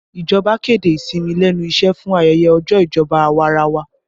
Ìjọba kéde ìsinmi lẹ́nu iṣẹ́ fún ayẹyẹ ọjọ́ ìjọba awarawa